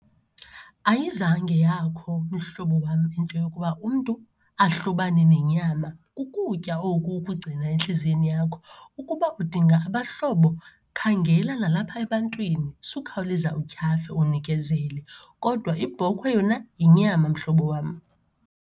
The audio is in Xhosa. Ayizange yakho, mhlobo wam, into yokuba umntu ahlobane nenyama. Kukutya oku ukugcina entliziyweni yakho. Ukuba udinga abahlobo khangela nalapha ebantwini, sukhawuleza utyhafe unikezele. Kodwa ibhokhwe yona yinyama mhlobo wam.